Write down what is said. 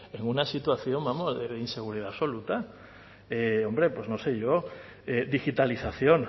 en una situación de inseguridad absoluta hombre pues no sé yo digitalización